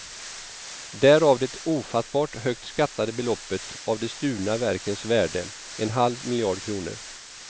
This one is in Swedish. Därav det ofattbart högt skattade beloppet av de stulna verkens värde, en halv miljard kronor.